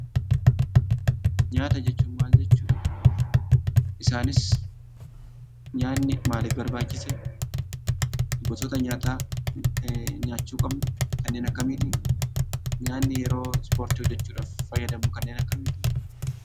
Nyaata jechuun maal jechuudha? Isaanis nyaatni maaliif barbachisee? Gosota nyaata nyaachu qabnu kannen akkamiti? Nyaanni yeroo Ispoortii hojechuudhaaf faayadamnu kannen akkamiti?